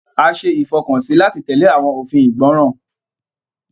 A ṣe ìfọkànsí láti tẹle awọn òfin ìgbọràn.